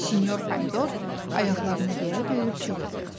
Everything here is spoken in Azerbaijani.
Sinyor Pomidor ayaqlarını yerə döyüb qığırdı.